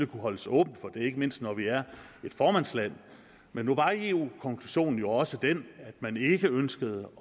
kunne holdes åben ikke mindst når vi er formandsland men nu var eu konklusionen jo også den at man ikke ønskede